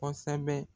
Kosɛbɛ